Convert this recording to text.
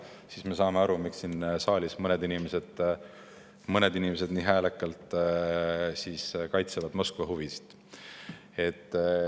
Siis me saame aru, miks siin saalis mõned inimesed nii häälekalt kaitsevad Moskva huvisid.